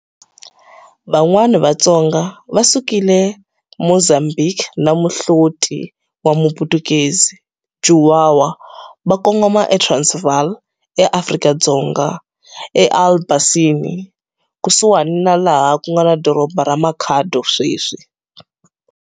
Van'wana Vatsonga va sukile Mozambiki na muhloti wa Muputukezi, Juwawa va kongoma eTransvaal, eAfrika-Dzonga, eAlbasini, kusuhani na laha ku nga na doroba ra Makhado sweswi.